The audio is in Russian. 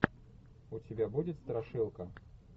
у тебя будет страшилка